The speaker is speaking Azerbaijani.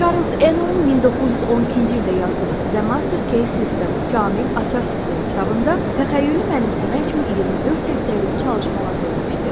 Çarlz Enelin 1912-ci ildə yazdığı The Master Key System, Kamil Açar Sistemi kitabında təxəyyülü mənimsəmək üçün 24 həftəlik çalışmalar verilmişdi.